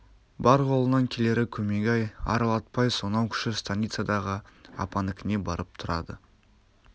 бар қолынан келері көмегі ай аралатпай сонау кіші станицадағы апанікіне барып тұрады